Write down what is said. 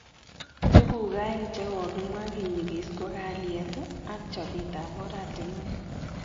Tukuk aeng chekokimwa kinyikis ko kalyet ak chobet ab oratinwek